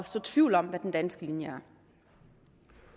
så tvivl om hvad den danske linje